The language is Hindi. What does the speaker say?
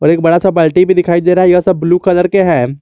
एक बड़ा सा बाल्टी भी दिखाई दे रहा है यह सब ब्लू कलर के है।